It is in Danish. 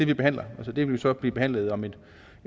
vi behandler den vil så blive behandlet om et